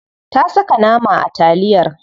Ta saka nama a taliyar.